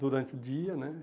durante o dia, né?